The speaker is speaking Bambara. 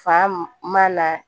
Fa man na